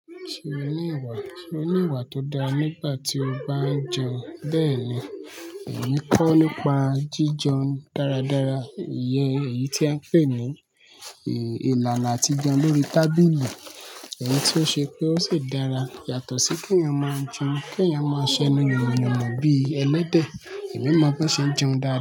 Ṣé oní ìgbà, ṣé oní ìgbà tó dára nígbà tí o bá ń jẹun? Bẹ́ẹ̀ni, mo ń kọ́ nípa jíjẹun dáradára. Ìyẹn, èyí tí a ńpè ní ìlànà àti jẹun lórí tábìlì, èyí tí ó ṣe pé ó ṣì dára yàtọ̀ sí kí èyàn máa ń jẹun, kí èyàn máa ń ṣẹnu yanmoyanmọ bí ẹlẹ́dẹ̀. Èmi mọ̀ bí wọ́n ṣe ń jẹun dára.